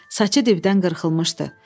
Saçı dibdən qırxılmışdı.